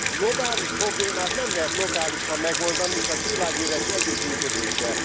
Globális problémát nem lehet lokálisan megoldani, csak világméretű együttműködéssel.